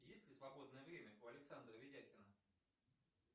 есть ли свободное время у александра ведяхина